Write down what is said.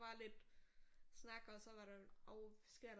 Var lidt snak også og hvad sker der